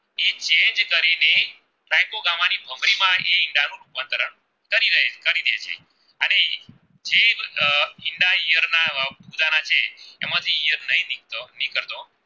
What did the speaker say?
એમાંથી ઈયત નાય નિક તો વીઘટો